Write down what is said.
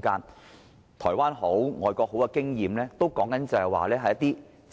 無論是台灣或外國的經驗，所說的都